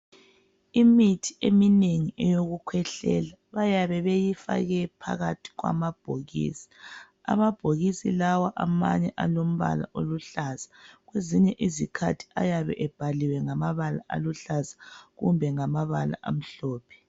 Imithi eminengi eyokukhwehlela bayabe beyifake phakathi kwamabhokisi, amabhokisi lawa amanye alombala oluhlahlaza kwezinye izikhathi ayabe ebhaliwe ngamabala aluhlaza , kumbe ngamabala amhlophe.